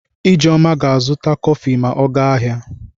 Ijeoma ga-azụta kọfị ma ọ gaa ahịa.